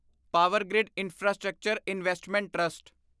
Powergrid Infrastructure Investment trust